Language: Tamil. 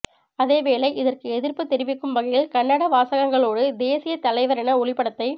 அதேவேளை இதற்க்கு எதிர்ப்பு தெரிவிக்கும் வகையில் கண்டன வாசகங்க்களோடு தேசியத்தலைவரின ஒளிப்படத்தை